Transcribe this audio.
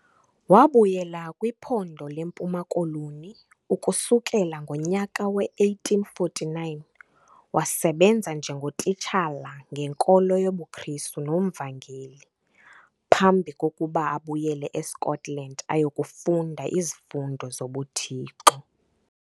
Wabuyela kwiphondo leMpuma Koloni, ukusukela ngonyaka we-1849 wasebenza njengotitshala ngenkolo yobuKrisru nomvangeli phambi kokuba abuyele eScotland ayokufunda izifundo zobuThixo.